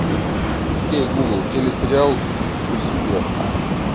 окей гугл телесериал успех